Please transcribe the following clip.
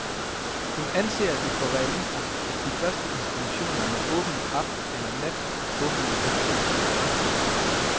Hun anser det for realistisk, at de første institutioner med åbent aften eller nat åbner i løbet af efteråret.